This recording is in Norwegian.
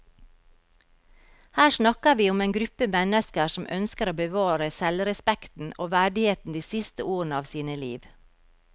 Her snakker vi om en gruppe mennesker som ønsker å bevare selvrespekten og verdigheten de siste årene av sine liv.